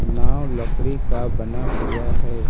नाव लकड़ी का बना हुआ हैं।